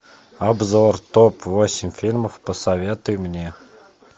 обзор топ восемь фильмов посоветуй мне